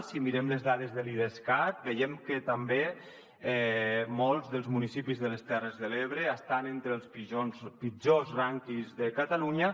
si mirem les dades de l’idescat veiem que també molts dels municipis de les terres de l’ebre estan entre els pitjors rànquings de catalunya